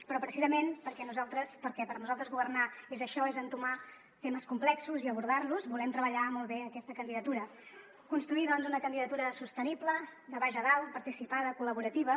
però precisament perquè per nosaltres governar és això és entomar temes complexos i abordar los volem treballar molt bé aquesta candidatura construir doncs una candidatura sostenible de baix a dalt participada col·laborativa